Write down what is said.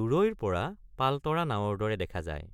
দূৰৈৰ পৰ৷ পালতৰ৷ নাৱৰ দৰে দেখা যায়।